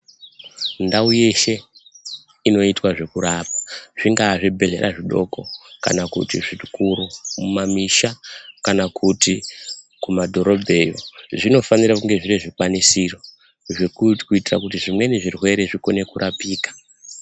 Ndau yeshe, inoitwa zvekurapa, zvingaa zvibhedhlera zvidoko, kana kuti zvikuru, kumamisha kana kuti kumadhorobheni, zvinofanira kunge zvine zvikwanisiro, kuitira kuti zvimweni zvirwere zvikone kurapika.